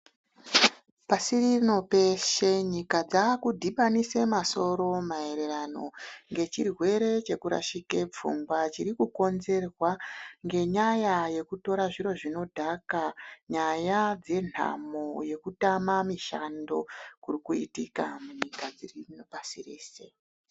Pasirino peshe nyika dzakudhibanise masoro maererano ngechirwere chekurashike pfungwa chiri kukonzerwa ngenyaya yekutora zviro zvinodhaka. Nyaya dzenhamo yekutama mishando kuri kuitika munyika dziri pashi reshe.